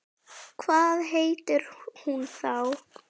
Hvað heitir hún þá?